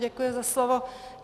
Děkuji za slovo.